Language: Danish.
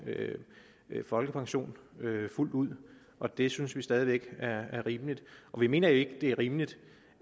folkepension fuldt ud og det synes vi stadig væk er er rimeligt og vi mener ikke det er rimeligt